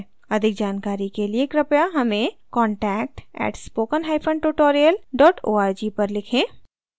अधिक जानकारी के लिए कृपया हमें contact @spoken hyphen tutorial org पर लिखें